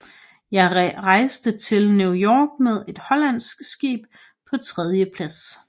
Jeg reiste til New York med et hollandsk Skib paa 3dje Plads